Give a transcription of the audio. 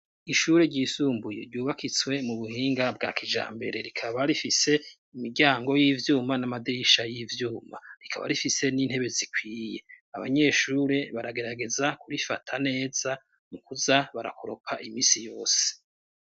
Ishure ryisumbuye ryubakitswe mu buhinga bwa kija mbere rikaba rifise imiryango y'ivyuma n'amadisha y'ivyuma rikaba rifise n'intebe zikwiye abanyeshure baragerageza kurifata neza mu kuza barakoroka imisi yose.